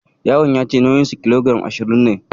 Yaron ya ce nauyinsa kilogiram ashirin ne